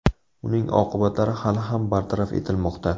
Uning oqibatlari hali ham bartaraf etilmoqda.